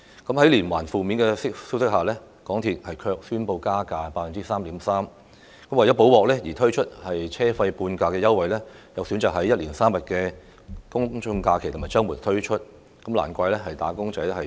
在接連傳出負面消息之際，港鐵公司卻宣布加價 3.3%； 為"補鑊"而提供車費半價優惠，卻選擇在一連3天的周末及公眾假期內推出，難怪"打工仔"怨氣滿腹。